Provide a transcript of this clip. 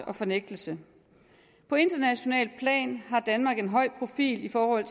og fornægtelse på internationalt plan har danmark en høj profil i forhold